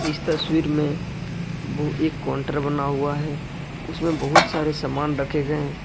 इस तस्वीर में वह एक काउंटर बना हुआ है उसमें बहुत सारे सामान रखे गए हैं।